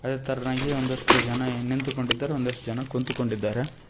ಅದೇತರ್ನಾಗಿ ಒಂದಷ್ಟು ಜನ ನಿಂತುಕೊಂಡಿದ್ದಾರೆ ಒಂದಷ್ಟು ಜನ ಕುಂತುಕೊಂಡಿದ್ದಾರೆ.